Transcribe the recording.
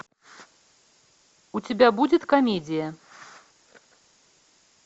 у тебя будет комедия